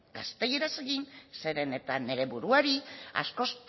gaztelaniaz egin zeren eta nire buruari askoz